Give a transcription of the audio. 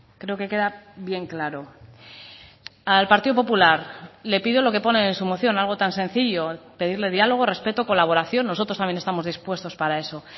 creo que queda bien claro al partido popular le pido lo que ponen en su moción algo tan sencillo pedirle diálogo respeto colaboración nosotros también estamos dispuestos para eso